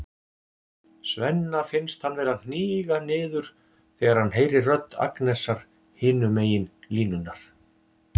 Svenna finnst hann vera að hníga niður þegar hann heyrir rödd Agnesar hinum megin línunnar.